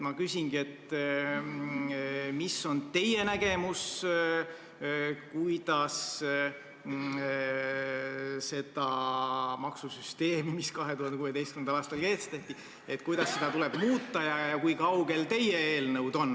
Ma küsingi, mis on teie nägemus, kuidas seda maksusüsteemi, mis 2016. aastal kehtestati, tuleb muuta ja kui kaugel teie eelnõud on.